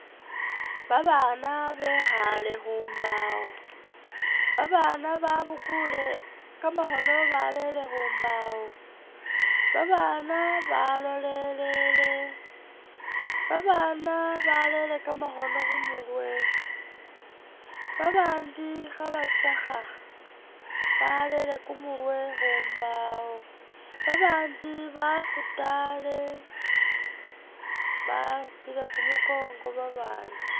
Babaana bekhale khumbawo, babaana babukule kamakhoono barele khumbawo babaana balolele babaana barele kamakhoono khumurwe babandi khabatsakha barele kumurwe khumbawo babandi bafutale bakhupile kumukongo babandi